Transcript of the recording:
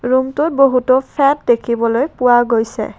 ৰুমটোত বহুতো ফেত দেখিবলৈ পোৱা গৈছে।